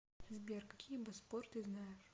сбер какие боспор ты знаешь